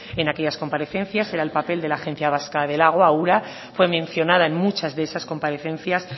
en aquellas comparecencias era el papel de la agencia vasca del agua ura fue mencionada en muchas de esas comparecencias